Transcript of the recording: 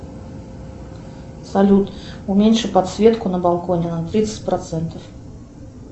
салют уменьши подсветку на балконе на тридцать процентов